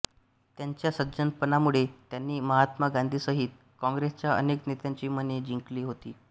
त्यांच्या सज्जनपणामुळे त्यांनी महात्मा गांधींसहित काँग्रेसच्या अनेक नेत्यांची मने जिंकली होती